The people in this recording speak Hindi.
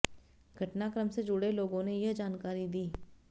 घटनाक्रम से जुड़े लोगों ने यह जानकारी दी